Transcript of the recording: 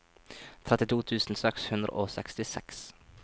trettito tusen seks hundre og sekstiseks